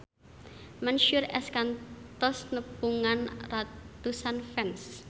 Mansyur S kantos nepungan ratusan fans